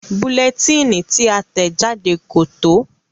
Bulẹtíìnì tí a tẹ̀ jáde kò tó.